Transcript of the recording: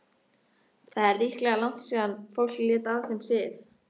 Það er líklega langt síðan fólk lét af þeim sið.